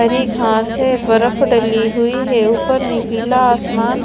घां से बर्फ डली हुई है ऊपर निपीला आसमान--